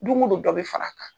Don o don dɔ bɛ fara a kan.